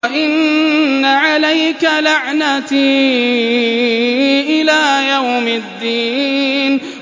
وَإِنَّ عَلَيْكَ لَعْنَتِي إِلَىٰ يَوْمِ الدِّينِ